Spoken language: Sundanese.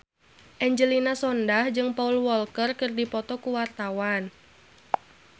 Angelina Sondakh jeung Paul Walker keur dipoto ku wartawan